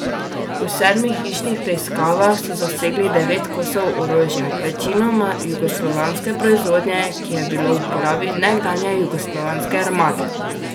V sedmih hišnih preiskavah so zasegli devet kosov orožja, večinoma jugoslovanske proizvodnje, ki je bilo v uporabi nekdanje jugoslovanske armade.